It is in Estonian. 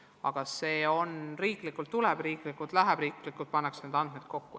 Aga kõik see on riiklik ja riiklikult pannakse need andmed ka kokku.